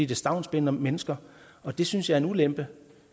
de stavnsbinder mennesker og det synes jeg er en ulempe